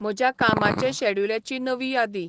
म्हज्या कामाचे शॅड्युलाची नवी यादी